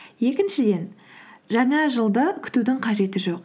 екіншіден жаңа жылды күтудің қажеті жоқ